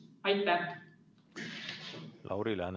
Lauri Läänemets, palun!